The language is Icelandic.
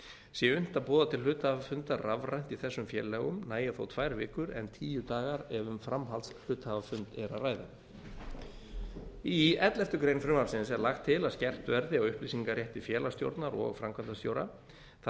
sé unnt að boða til hluthafafunda rafrænt í þessum félögum nægja þó tvær vikur en tíu dagar ef um framhaldshluthafafund er að ræða í elleftu greinar frumvarpsins er lagt til að skerpt verði upplýsingarétti félagsstjórnar og framkvæmdastjóra það